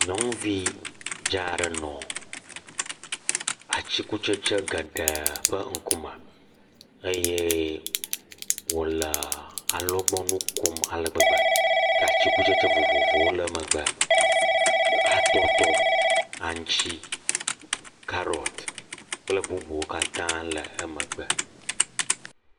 nyɔŋuvi dza'ɖe nɔ atsikutsetsi geɖe ƒe ŋkume eye wòle alɔgbɔŋui kom ale gbegbe ke atsikutsetse vovovowo le emegbe kple atɔtɔ aŋtsi kple karɔt kple bubuwo katã le emegbe